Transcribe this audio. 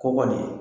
Kɔkɔ de